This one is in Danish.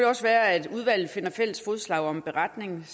også være at udvalget finder fælles fodslag om en beretning